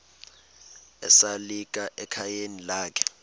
esalika ekhayeni lakhe